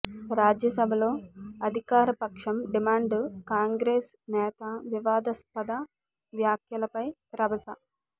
రాజ్యసభలో అధికారపక్షం డిమాండ్ కాంగ్రెస్ నేత వివాదాస్పద వ్యాఖ్యలపై రభస